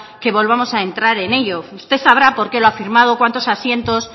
que volvamos a entrar en ello usted sabrá por qué lo ha firmado cuántos asientos